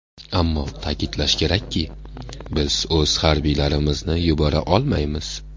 Ammo ta’kidlash kerakki, biz o‘z harbiylarimizni yubora olmaymiz.